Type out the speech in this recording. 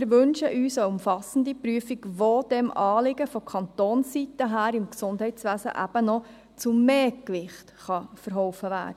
Wir wünschen eine umfassende Prüfung, welche dem Anliegen von Kantonsseite her im Gesundheitswesen noch zu mehr Gewicht verhelfen kann.